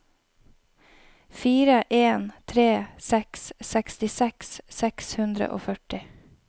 fire en tre seks sekstiseks seks hundre og førti